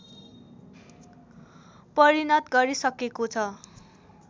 परिणत गरिसकेको छ